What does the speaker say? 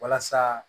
Walasa